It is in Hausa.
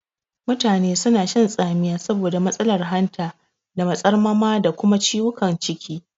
Mutane suna shan tsamiya saboda matsalar hanta da matsarmama da kuma ciwukan ciki.